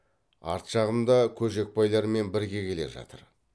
арт жағымда көжекбайлармен бірге келе жатыр